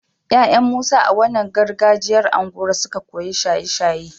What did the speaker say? yayan musa a wannan gargajiyar unguwar suka koyi shaye shaye